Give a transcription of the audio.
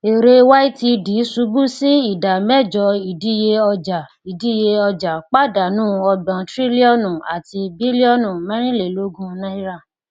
èrè ytd ṣubú sí ìdá mẹjọ ìdíye ọjà ìdíye ọjà padánù ọgbòn trílíọnù àti bílíọnù mẹrìnlélógún náírà